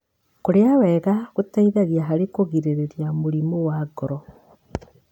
Kũrĩa wega gũteithagia harĩ kũgirĩrĩria mũrimũ wa ngoro.